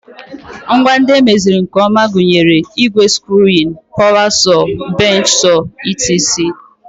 Ngwa ndị emeziri nke ọma gụnyere igwe screwing, power saw, bench saw etc